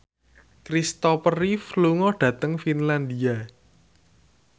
Christopher Reeve lunga dhateng Finlandia